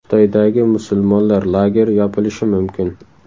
Xitoydagi musulmonlar lageri yopilishi mumkin.